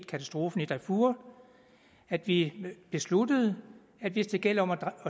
katastrofen i darfur at vi besluttede at hvis det gælder om at